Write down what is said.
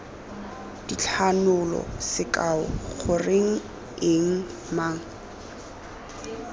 dithanolo sekao goreng eng mang